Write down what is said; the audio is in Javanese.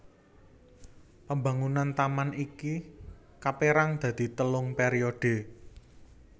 Pambangunan taman iki kapérang dadi telung pèriodhe